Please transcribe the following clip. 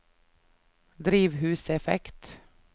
drivhuseffekt